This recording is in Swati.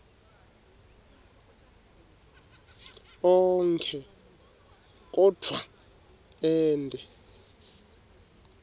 onkhe kodvwa ente